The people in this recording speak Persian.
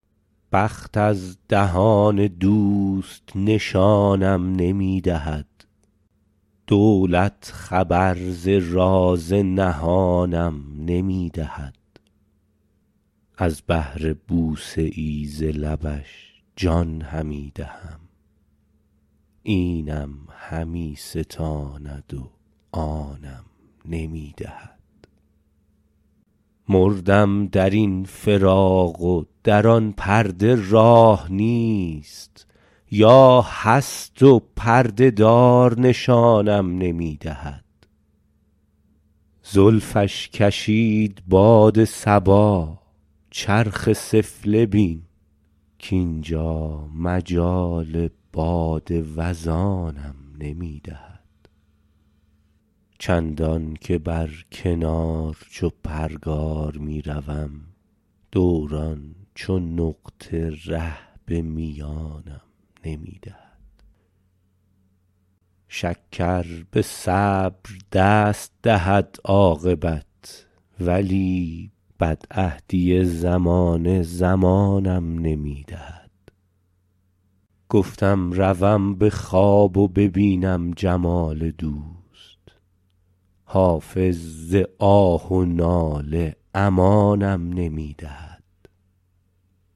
بخت از دهان دوست نشانم نمی دهد دولت خبر ز راز نهانم نمی دهد از بهر بوسه ای ز لبش جان همی دهم اینم همی ستاند و آنم نمی دهد مردم در این فراق و در آن پرده راه نیست یا هست و پرده دار نشانم نمی دهد زلفش کشید باد صبا چرخ سفله بین کانجا مجال باد وزانم نمی دهد چندان که بر کنار چو پرگار می شدم دوران چو نقطه ره به میانم نمی دهد شکر به صبر دست دهد عاقبت ولی بدعهدی زمانه زمانم نمی دهد گفتم روم به خواب و ببینم جمال دوست حافظ ز آه و ناله امانم نمی دهد